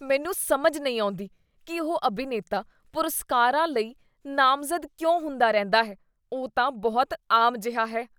ਮੈਨੂੰ ਸਮਝ ਨਹੀਂ ਆਉਂਦੀ ਕੀ ਉਹ ਅਭਿਨੇਤਾ ਪੁਰਸਕਾਰਾਂ ਲਈ ਨਾਮਜ਼ਦ ਕਿਉਂ ਹੁੰਦਾ ਰਹਿੰਦਾ ਹੈ। ਉਹ ਤਾਂ ਬਹੁਤ ਆਮ ਜਿਹਾ ਹੈ।